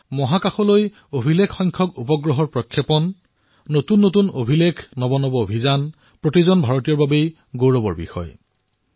মহাকাশত অভিলেখসংখ্যক উপগ্ৰহ প্ৰক্ষেপণ নতুন নতুন অভিলেখ নতুন নতুন অভিযানে ভাৰতীয়ক গৌৰৱান্বিত কৰি তুলিছে